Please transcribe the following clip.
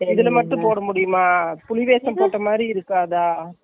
இதுல மட்டும் போட முடியுமா, புலி வேஷம் போட்ட மாதிரி இருக்காதா?